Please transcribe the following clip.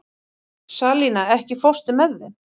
Salína, ekki fórstu með þeim?